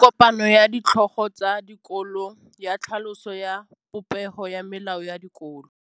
Go na le kopanô ya ditlhogo tsa dikolo ya tlhaloso ya popêgô ya melao ya dikolo.